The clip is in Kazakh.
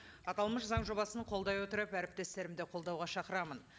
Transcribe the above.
аталмыш заң жобасын қолдай отырып әріптестерімді қолдауға шақырамын